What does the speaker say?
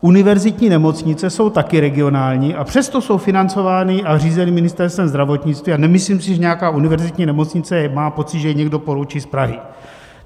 Univerzitní nemocnice jsou taky regionální, a přesto jsou financovány a řízeny Ministerstvem zdravotnictví a nemyslím si, že nějaká univerzitní nemocnice má pocit, že jí někdo poroučí z Prahy.